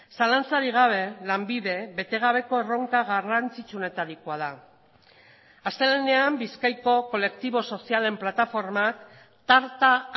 zalantzarik gabe lanbide bete gabeko erronka garrantzitsuenetarikoa da astelehenean bizkaiko kolektibo sozialen plataformak tarta